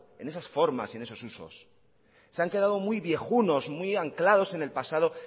en esas formar y en esos usos se han quedado muy viejunos muy anclados en el pasado